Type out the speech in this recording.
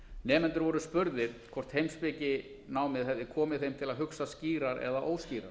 nemendur voru spurðir hvort heimspekinámið hefði komið þeim til að hugsa skýrar eða óskýrar